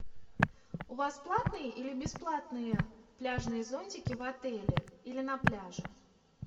у вас платные или бесплатные пляжные зонтики в отеле или на пляже